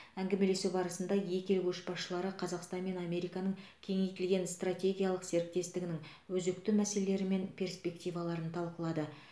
әңгімелесу барысында екі ел көшбасшылары қазақстан мен американың кеңейтілген стратегиялық серіктестігінің өзекті мәселелері мен перспективаларын талқылады